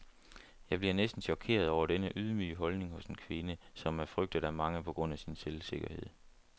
Jeg bliver næsten chokeret over denne ydmyge holdning hos en kvinde, som er frygtet af mange på grund af sin selvsikkerhed.